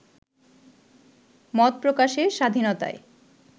মত প্রকাশের স্বাধীনতায়